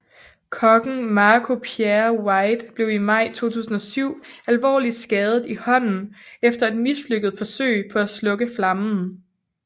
Kokken Marco Pierre White blev i maj 2007 alvorligt skadet i hånden efter et mislykket forsøg på at slukke flammen